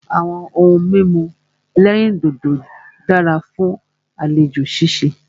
Àwọn ohun mímu ẹ̀lẹ́rìndodò dára fún àlejò ṣíṣe.